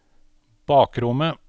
bakrommet